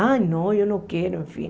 Ah, não, eu não quero, enfim.